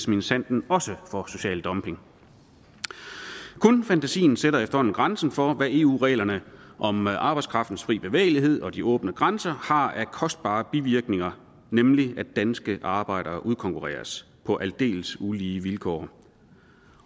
minsandten også for social dumping kun fantasien sætter efterhånden grænsen for hvad eu reglerne om arbejdskraftens fri bevægelighed og de åbne grænser har af kostbare bivirkninger nemlig at danske arbejdere udkonkurreres på aldeles ulige vilkår